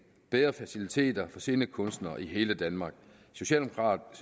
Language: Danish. bedre faciliteter for scenekunstnere i hele danmark